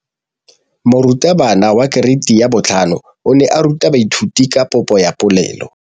Moratabana wa kereiti ya 5 o ne a ruta baithuti ka popô ya polelô.